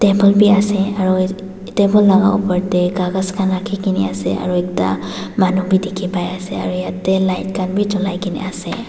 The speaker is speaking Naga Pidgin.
b ase aro table laga opor de kagas khan rakhi gina ase aro ekta manu b dikhi pai ase aro yete light khan b julai gina ase.